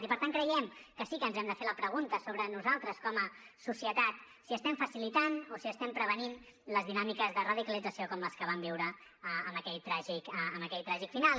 i per tant creiem que sí que ens hem de fer la pregunta sobre nosaltres com a societat si estem facilitant o si estem prevenint les dinàmiques de radicalització com les que vam viure amb aquell tràgic final